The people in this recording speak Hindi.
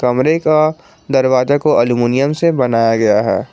कमरे का दरवाजा को अल्मुनियम से बनाया गया है।